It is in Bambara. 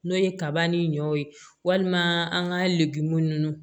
N'o ye kaba ni ɲɔw ye walima an ka legu nunnu